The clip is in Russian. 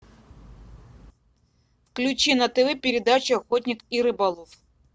включи на тв передачу охотник и рыболов